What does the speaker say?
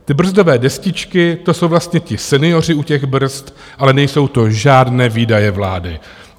Ty brzdové destičky, to jsou vlastně ti senioři u těch brzd, ale nejsou to žádné výdaje vlády.